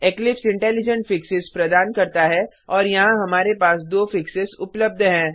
Eclipse intelligents fixes प्रदान करता है और यहाँ हमारे पास दो फिक्सेस उपलब्ध हैं